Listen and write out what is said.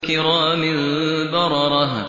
كِرَامٍ بَرَرَةٍ